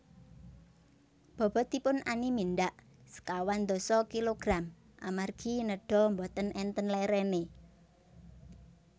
bobotipun Ani mindhak sekawan dasa kg amargi nedha mboten enten lerene